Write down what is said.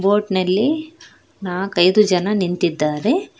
Boat ನಲ್ಲಿ ನಾಲ್ಕೈದು ಜನ ನಿಂತಿದ್ದಾರೆ.